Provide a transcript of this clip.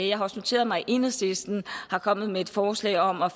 jeg har også noteret mig at enhedslisten er kommet med et forslag om at